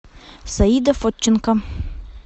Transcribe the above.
саида фотченко